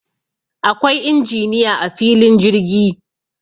Akwai injiniya a filin jirgi